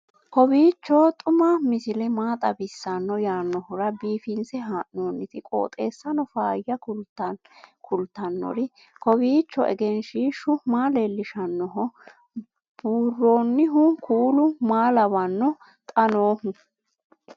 kowiicho xuma mtini maa xawissanno yaannohura biifinse haa'noonniti qooxeessano faayya kultannori kowiicho egenshshiishu maa leellishshannoho buurroonnihu kuulu maa lawanno xa noohu